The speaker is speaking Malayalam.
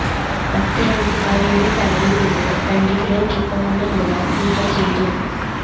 പത്ത് വയസുകാരിയുടെ തലയില്നിന്നും രണ്ടു കിലോ തൂക്കമുള്ള മുഴ നീക്കം ചെയ്തു